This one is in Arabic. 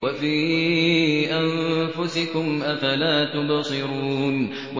وَفِي أَنفُسِكُمْ ۚ أَفَلَا تُبْصِرُونَ